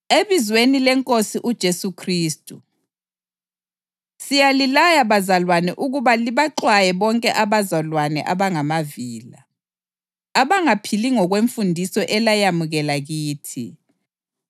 Ebizweni leNkosi uJesu Khristu, siyalilaya bazalwane ukuba libaxwaye bonke abazalwane abangamavila, abangaphili ngokwemfundiso elayamukela kithi.